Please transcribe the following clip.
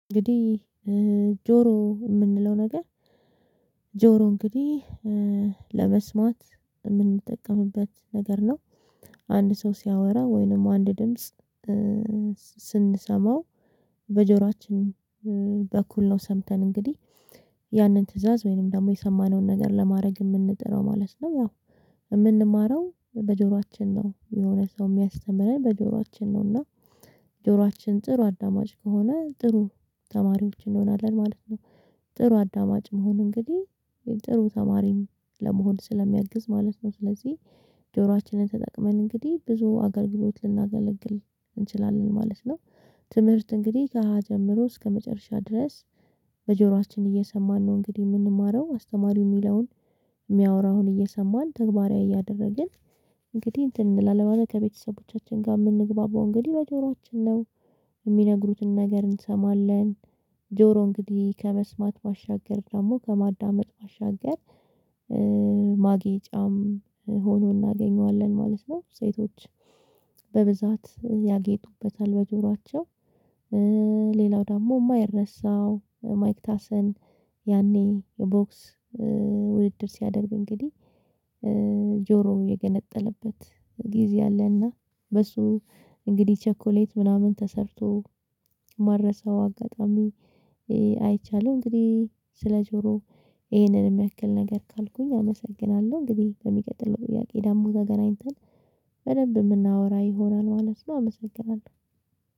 እንግዲህ እ ጆሮ የምንለው ነገር ጆሮ እንግዲህ እ ለመስማት የምንጠቀምበት ነገር ነው። አንድ ሰው ሲያወራ ወይንም አንድ ድምጽ ስንሰማው በጆሮአችን እ በኩል ነው ሰምተን እንግዲህ ያንን ትእዛዝ ወይንም ደግሞ የሰማነውን ነገር ለማድረግ የምንጥረው ማለት ነው። ያው የምንማረው በጆሯችን ነው የሆነ ሰው የሚያስተምረን በጆሯችን ነው እና ጆሯችን ጥሩ አዳማጭ ከሆነ ጥሩ ተማሪዎች እንሆናለን ማለት ነው። ጥሩ አዳማጭ መሆን እንግዲህ ጥሩ ተማሪም ለመሆን ስለሚያግዝ ማለት ነው። ስለዚህ ጆሯችንን ተጠቅመን እንግዲህ ብዙ አገልግሎት ልናገለግል እንችላለን ማለት ነው። ትምህርት እንግዲህ ከሀ ጀምሮ እስከመጨረሻ ድረስ። በጆሯችን እየሰማን ነው እንግዲህ የምንማረው አስተማሪው የሚለውን የሚያወራውን እየሰማን ተግባራዊ እያደረግን እንግዲህ እንትን እንላለን ከቤተሰቦቻችን ጋር የምንግባባው እንግዲህ በጆሮአችን ነው። የሚነግሩትን ነገር እንሰማለን። ጆሮ እንግዲህ ከመስማት ባሻገር ደግሞ ከማዳመጥ ባሻገር እእ ማጌጫም ሆኖ እናገኘዋለን ማለት ነው። ሴቶች በብዛት ያጌጡበታል በጆሯቸው። እእ ሌላው ደሞ የማይረሳው ማይክ ታሰን። ያኔ ቦክስ እ ውድድር ሲያደርግ እንግዲህ እ ጆሮው የገነጠለበት ጊዜ አለና በሱ እንግዲህ ቸኮሌት ምናምን ተሰርቶ ማረሳው አጋጣሚ አይቻለሁ። እንግዲህ ስለ ጆሮ ይሄንን የሚያክል ነገር ካልኩኝ አመሰግናለሁ። እንግዲህ በሚቀጥለው ጥያቄ ደግሞ ተገናኝተን በደንብ የምናወራ ይሆናል ማለት ነው። አመሰግናለሁ